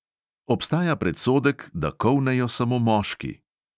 Obstaja predsodek, da kolnejo samo moški.